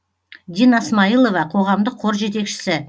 дина смайылова қоғамдық қор жетекшісі